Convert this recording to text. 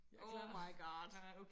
Oh my god